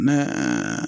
Ne